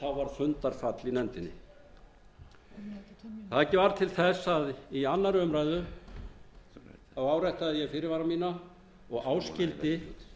en þá var fundarfall í nefndinni það varð til þess að í annarri umræðu áréttaði ég fyrirvara mína og áskildi